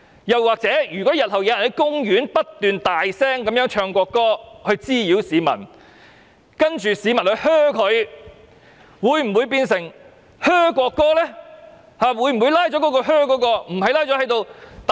如果日後有人在公園不斷大聲高唱國歌滋擾市民，然後市民發出噓聲，這樣又會否變成噓國歌呢？